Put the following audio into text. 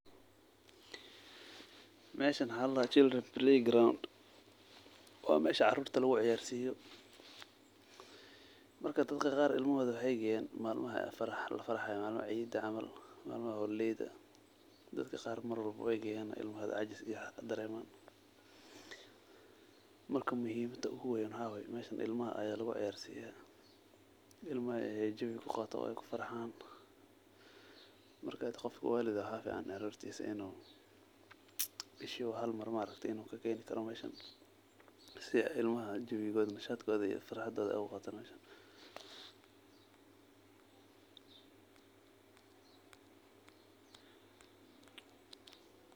Meshan waxa ladaxa children play ground, wa mesha carurta laguciyarsiyo, marka dadka qar ilmaxodha way geyan malmaxa lafarxaya , malmaxa ciida camal, malmaxa holiday, dadaka qar mar walba way geyan marka ilmahodha cajis iyo waxaa kadareman, marka muxiimadha oguwen waxa waye meshan ilamaxa aya laguciyarsiyaa, ilmaxa aya jawiga kuqatan, waykufarxaan, mark gof walidh ax waxa ficaan carurtisa inu, bishiba xal mar inu kakeni karo meshan, si ay ilmaxa jawigodha, nashatkodha , iyo farxadhodha ay uguqatan meshan.